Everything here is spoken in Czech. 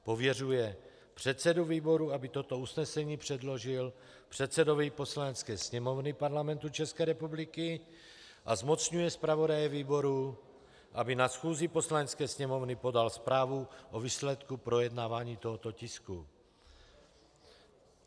Pověřuje předsedu výboru, aby toto usnesení předložil předsedovi Poslanecké sněmovny Parlamentu České republiky, a zmocňuje zpravodaje výboru, aby na schůzi Poslanecké sněmovny podal zprávu o výsledku projednávání tohoto tisku.